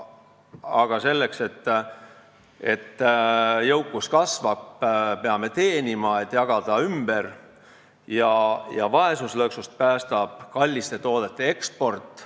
Aga selleks, et jõukus kasvaks, peame rohkem teenima, et saaks ümber jagada, ja vaesuslõksust päästab kallite toodete eksport.